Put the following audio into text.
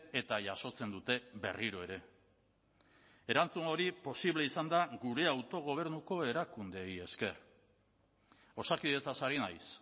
eta jasotzen dute berriro ere erantzun hori posible izan da gure autogobernuko erakundeei esker osakidetzaz ari naiz